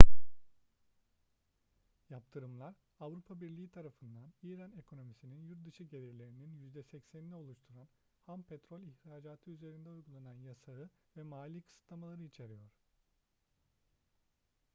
yaptırımlar avrupa birliği tarafından i̇ran ekonomisinin yurt dışı gelirlerinin %80'ini oluşturan ham petrol ihracatı üzerinde uygulan yasağı ve mali kısıtlamaları içeriyor